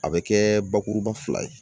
A bɛ kɛ bakuruba fila ye